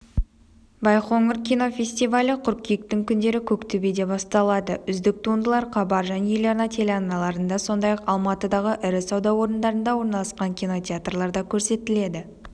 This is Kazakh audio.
байқоңыр кинофестивалі қыркүйектің күндері көктөбеде басталады үздік туындылар хабар және еларна телеарналарында сондай-ақ алматыдағы ірі-сауда орындарында орналасқан кинотеатрларда көрсетіледі